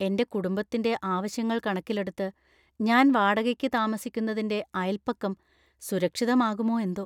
എന്‍റെ കുടുംബത്തിന്‍റെ ആവശ്യങ്ങൾ കണക്കിലെടുത്ത് ഞാൻ വാടകയ്‌ക്ക് താമസിക്കുന്നതിന്‍റെ അയല്‍പക്കം സുരക്ഷിതമാകുമോ എന്തോ.